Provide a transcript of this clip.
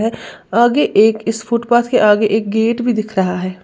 आगे एक इस फुटपाथ के आगे एक गेट भी दिख रहा है।